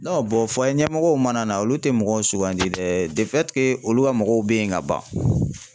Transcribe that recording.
bɔn fayiɲɛmɔgɔw mana na, olu tɛ mɔgɔw sugandi dɛ olu ka mɔgɔw bɛ yen ka ban.